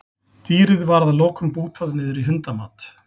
Dýrið var að lokum bútað niður í hundamat.